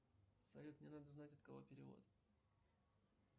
салют мне надо знать от кого перевод